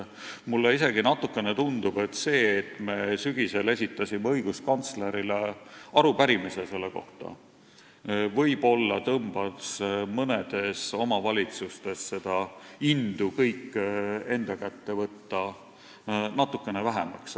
Mulle isegi natukene tundub, et see, et me sügisel esitasime õiguskantslerile selle kohta arupärimise, võib-olla tõmbas mõnes omavalitsuses seda indu kõik enda kätte võtta natukene vähemaks.